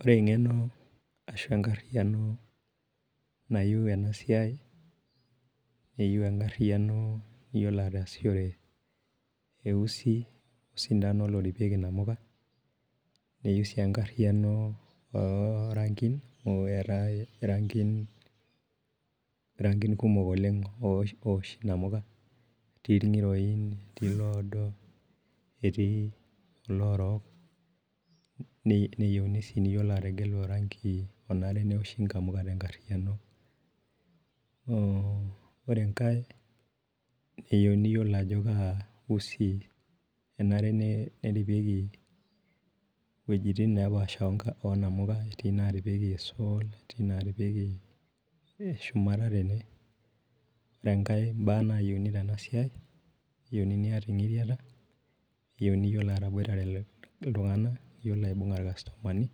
Ore eng'eno ashu enkariyiano nayieu ena siai ,eyieu ena ariyiano iyiolo ataasishore, eusi o sintano naripieki nkamuka. neyieu sii enkariyiano oo Rankin, oo eetae irankin, kumok oleng oosh namuka, etii ilngiroin, etii iloodo, etiiiloorok. neyieuni sii neyiolo ategelu oranki,,onare neosho nkamuka te nkariyiano, oore enkae keyieuni niyiolou ajo kausi enare neripieki iwuejitin nepaasha oo namuka, etii inaaripieki esol. etii inaaripieki shumata tene, ore enkae baa naayieuni tena siai, keyieuni naa iyata engiriata, keyieuni naa iyiolo ataboitare iltunganak. iyiolo aibung'are ilkastomani,